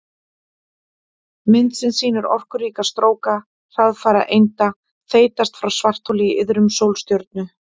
Mynd sem sýnir orkuríka stróka hraðfara einda þeytast frá svartholi í iðrum sólstjörnu.